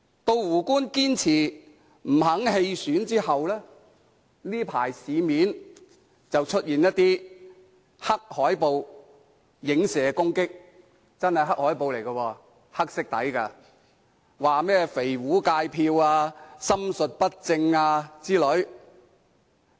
在"胡官"堅持不願意棄選後，這陣子市面便出現黑海報來影射攻擊，這些海報真的是黑海報，是以黑色為底色的，內容包括"肥胡界票"、"心術不正"等。